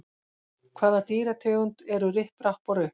Hvaða dýrategund eru Ripp, Rapp og Rupp?